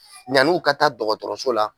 Yani u ka taa dɔgɔtɔrɔso la.